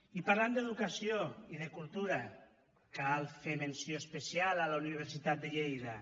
i parlant d’educació i de cultura cal fer menció especial a la universitat de lleida